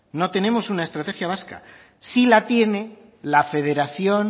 no tenemos una estrategia vasca sí la tiene la federación